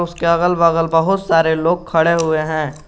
उसके अगल बगल बहुत सारे लोग खड़े हुए हैं।